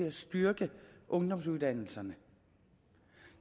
at styrke ungdomsuddannelserne